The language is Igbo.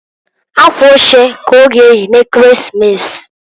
Akwa oche ka ọ ga eyi n'Ekeresimesi.